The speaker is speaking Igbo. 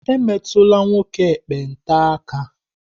Emetula nwoke ekpenta aka!